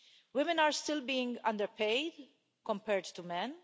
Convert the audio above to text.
Women are still being underpaid compared to men.